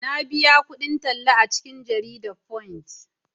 na biya kudin talla a cikin jaridan "Punch"